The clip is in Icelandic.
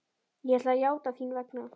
Ég ætla að játa þín vegna.